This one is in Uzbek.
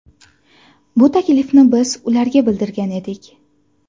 Bu taklifni biz ularga bildirgan edik.